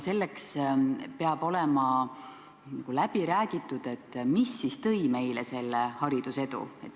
Samas peab olema nagu läbi räägitud, mis ikkagi meile selle edu toonud on.